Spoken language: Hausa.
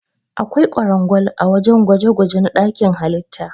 Akwai kwarangwal ã wajen gwaje-gwaje na dakin halitta.